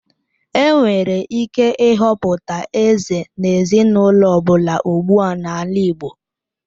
Enwere ike ịhọpụta eze n'ezinaụlọ ọ bụla ugbua n'ala igbo.